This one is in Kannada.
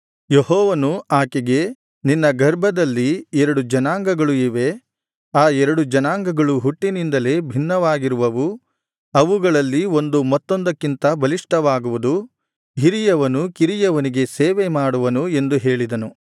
ಯೆಹೋವನು ಆಕೆಗೆ ನಿನ್ನ ಗರ್ಭದಲ್ಲಿ ಎರಡು ಜನಾಂಗಗಳು ಇವೆ ಆ ಎರಡು ಜನಾಂಗಗಳು ಹುಟ್ಟಿನಿಂದಲೇ ಭಿನ್ನವಾಗಿರುವವು ಅವುಗಳಲ್ಲಿ ಒಂದು ಮತ್ತೊಂದಕ್ಕಿಂತ ಬಲಿಷ್ಠವಾಗುವುದು ಹಿರಿಯವನು ಕಿರಿಯವನಿಗೆ ಸೇವೆ ಮಾಡುವನು ಎಂದು ಹೇಳಿದನು